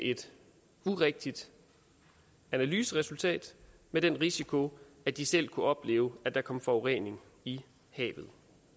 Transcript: et urigtigt analyseresultat med den risiko at de selv kunne opleve at der kom forurening i havet